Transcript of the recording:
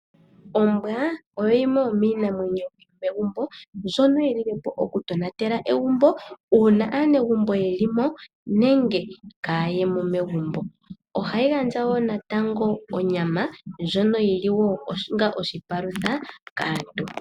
Ombwa oyo yimwe yomiinamwenyo yo megumbo ndjono yi lilepo okutonatela egumbo, uuna aanegumbo yelimo nenge kaayemo megumbo. Ohayi gandja wo natango onyama ndjono yili wo onga oshipalutha kaantu.